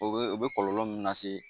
O be o be kɔlɔlɔ min lase